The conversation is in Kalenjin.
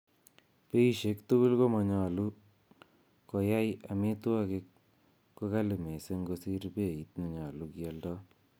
Beishik tugul komonyolu koyai amitwogik ko kali missing kosir beit nenyolu kialdo.